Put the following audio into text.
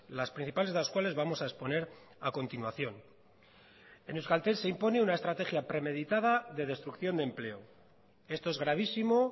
las principales de las cuales vamos a exponer a continuación en euskaltel se impone una estrategia premeditada de destrucción de empleo esto es gravísimo